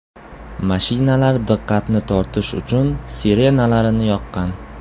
Mashinalar diqqatni tortish uchun sirenalarini yoqqan.